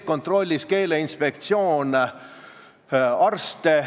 Ta võib ju sõbra käest küsida, kuidas asjad on, ja vastavalt sellele tegutseda.